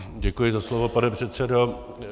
Děkuji za slovo, pane předsedo.